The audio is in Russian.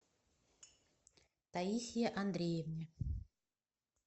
таисье андреевне